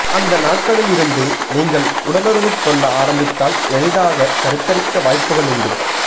அந்த நாட்களில் இருந்து நீங்கள் உடலுறவுக் கொள்ள ஆரம்பித்தால் எளிதாக கருத்தரிக்க வாய்ப்புகள் உண்டு